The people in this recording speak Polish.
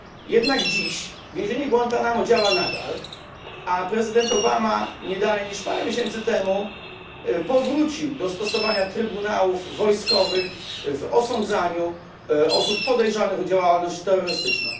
Jednak dziś więzienie Guantanamo działa nadal, a prezydent Obama nie dalej niż parę miesięcy temu powrócił do stosowania trybunałów wojskowych w osądzaniu osób podejrzanych o działalność terrorystyczną.